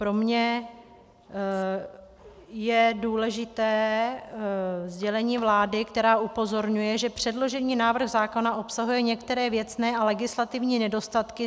Pro mě je důležité sdělení vlády, která upozorňuje, že předložený návrh zákona obsahuje některé věcné a legislativní nedostatky.